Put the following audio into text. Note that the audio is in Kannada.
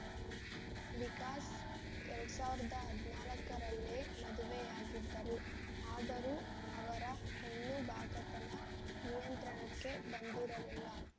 ವಿಕಾಸ್‌ ಎರಡ್ ಸಾವಿರದ ಹದಿನಾಲ್ಕರಲ್ಲೇ ಮದುವೆಯಾಗಿದ್ದರು ಆದರೂ ಅವರ ಹೆಣ್ಣುಬಾಕತನ ನಿಯಂತ್ರಣಕ್ಕೆ ಬಂದಿರಲಿಲ್ಲ